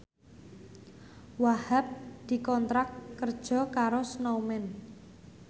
Wahhab dikontrak kerja karo Snowman